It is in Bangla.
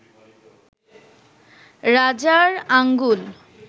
রাজার আঙ্গুল